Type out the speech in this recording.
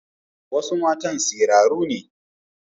Wasu matan siraru ne.